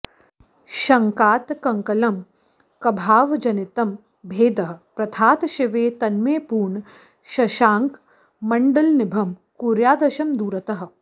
शङ्कातङ्ककलङ्कभावजनितं भेदः प्रथातः शिवे तन्मे पूर्णशशाङ्कमण्डलनिभं कुर्यादशं दूरतः